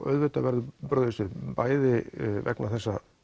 auðvitað verður brugðist við bæði vegna þessa